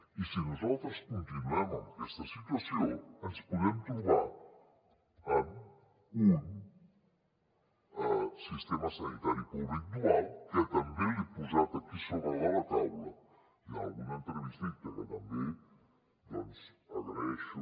i si nosaltres continuem en aquesta situació ens podem trobar amb un sistema sanitari públic dual que també l’he posat aquí a sobre de la taula i en alguna entrevista que també doncs agraeixo